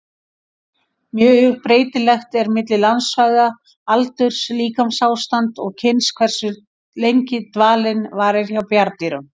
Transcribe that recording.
Mjög breytilegt er milli landsvæða, aldurs, líkamsástands og kyns hversu lengi dvalinn varir hjá bjarndýrum.